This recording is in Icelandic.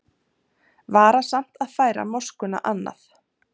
Varasamt að færa moskuna annað